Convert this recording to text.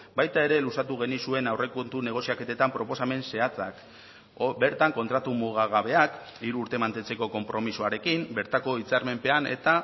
baita ere luzatu genizuen aurrekontu negoziaketetan proposamen zehatzak bertan kontratu mugagabeak hiru urte mantentzeko konpromisoarekin bertako hitzarmenpean eta